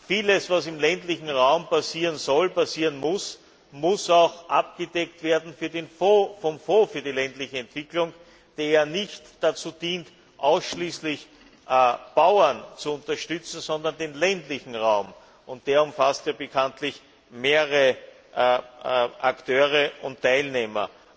Vieles, was im ländlichen Raum passieren soll und muss, muss auch abgedeckt werden vom Fonds für die ländliche Entwicklung, der ja nicht dazu dient, ausschließlich Bauern zu unterstützen, sondern den ländlichen Raum. Der umfasst ja bekanntlich mehrere Akteure und Teilnehmer.